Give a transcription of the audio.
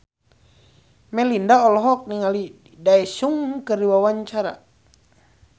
Melinda olohok ningali Daesung keur diwawancara